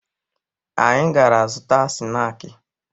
Anyị gara zụta snaakị